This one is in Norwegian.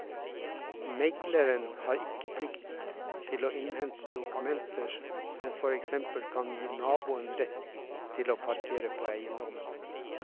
Megleren har ikke plikt til å innhente dokumenter som for eksempel kan gi naboen rett til å parkere på eiendommen.